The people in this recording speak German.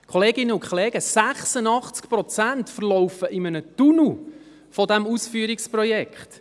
Kolleginnen und Kollegen: 86 Prozent von diesem Ausführungsprojekt verlaufen in einem Tunnel.